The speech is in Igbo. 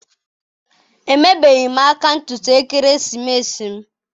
Emebeghị m ka ntutu ekeresimesi m.